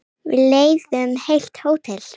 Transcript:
Við leigðum heilt hótel.